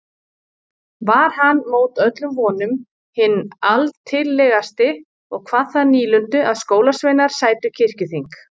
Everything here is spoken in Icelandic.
Var hann mót öllum vonum hinn altillegasti og kvað það nýlundu að skólasveinar sætu kirkjuþing.